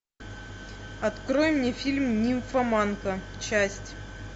открой мне фильм нимфоманка часть